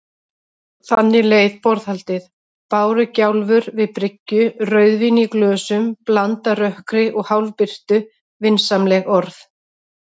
Þannig leið borðhaldið: bárugjálfur við bryggju, rauðvín í glösum, blandað rökkri og hálfbirtu, vinsamleg orð.